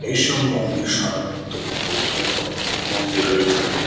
এই সব মন্দির সাধারণত বহু পুরাতন মন্দির হয়ে থাকে।